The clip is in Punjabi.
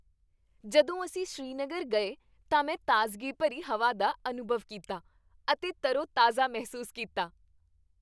ਜਦੋਂ ਅਸੀਂ ਸ੍ਰੀਨਗਰ ਗਏ ਤਾਂ ਮੈਂ ਤਾਜ਼ਗੀ ਭਰੀ ਹਵਾ ਦਾ ਅਨੁਭਵ ਕੀਤਾ ਅਤੇ ਤਰੋਤਾਜ਼ਾ ਮਹਿਸੂਸ ਕੀਤਾ।